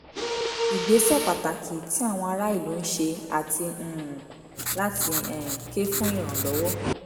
ìgbésẹ̀ pàtàkì tí àwọn ará ìlú ń ṣe àti um láti um ké fún ìrànlọ́wọ́